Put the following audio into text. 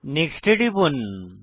next এ টিপুন